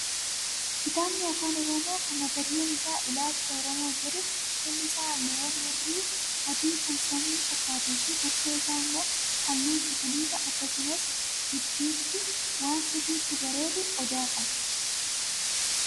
Kitaabni afaan oromoo kan mata dureen isaa "Ilaalcha oromoo" jedhu qolli isaa halluuwwan hurrii adii kan samii fakkaatuu fi bukkee isaa immoo halluu cuquliisaa akkasumas gidduutti waan sirriitti bareedu odaa qaba.